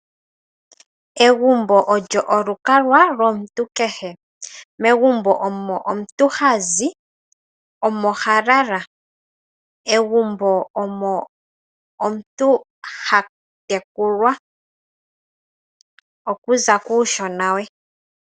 Egumbo olyo olukalwa lomuntu kehe. Megumbo omo omuntu hazi, omo halala. Egumbo omo omuntu hatekulwa okuza kuushona we.